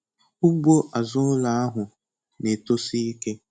Ugbo azụ ụlọ ahụ na-etosi ike.